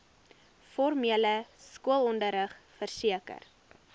formele skoolonderrig verseker